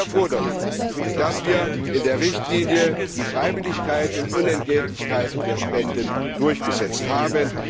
Ich bin sehr froh darüber, dass wir in der Richtlinie die Freiwilligkeit und Unentgeltlichkeit der Spenden durchgesetzt haben.